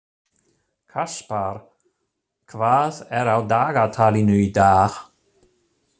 Kaspar, hvað er á dagatalinu í dag?